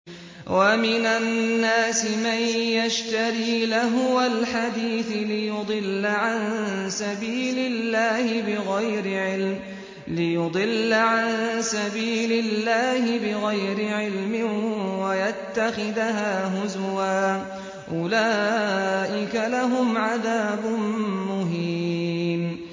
وَمِنَ النَّاسِ مَن يَشْتَرِي لَهْوَ الْحَدِيثِ لِيُضِلَّ عَن سَبِيلِ اللَّهِ بِغَيْرِ عِلْمٍ وَيَتَّخِذَهَا هُزُوًا ۚ أُولَٰئِكَ لَهُمْ عَذَابٌ مُّهِينٌ